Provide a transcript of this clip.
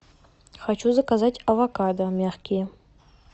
хочу заказать авокадо мягкие